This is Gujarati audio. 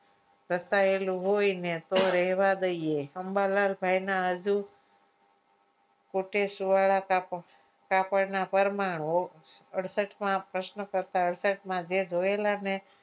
ઘસાયેલું હોય ને તો રહેવા દઈએ અંબાલાલ ભાઈ ના હજુ કોટેશ્વર કાપડના પરમાણુઓ અડસઠ માં પ્રશ્ન કરતા જે જોયેલા ને